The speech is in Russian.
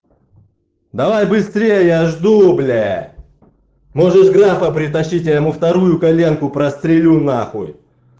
давай быстрее я жду бля можешь графа притащить я ему вторую коленку прострелю нахуй